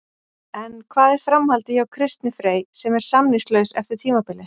En hvað er framhaldið hjá Kristni Frey sem er samningslaus eftir tímabilið?